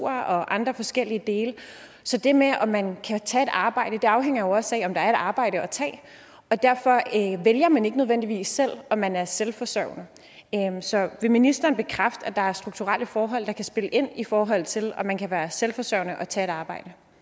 og andre forskellige dele så det med om man kan tage et arbejde afhænger jo også af om der er et arbejde at tage og derfor vælger man ikke nødvendigvis selv om man er selvforsørgende så vil ministeren bekræfte at der er strukturelle forhold der kan spille ind i forhold til om man kan være selvforsørgende og tage et arbejde